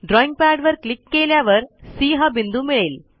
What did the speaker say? ड्रॉईंगपॅडवर click केल्यावर C हा बिंदू मिळेल